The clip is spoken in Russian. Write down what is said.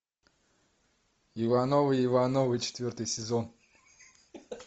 ивановы ивановы четвертый сезон